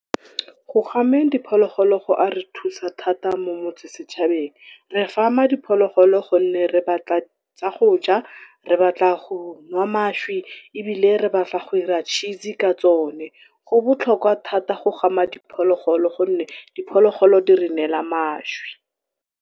Go gameng diphologolo go a re thusa thata mo motse setšhabeng re gama diphologolo gonne re batla tsa goja, re batla go nwa mašwi, ebile re go dira cheese ka tsone. Go botlhokwa thata go gama diphologolo gonne diphologolo di re neela mašwi.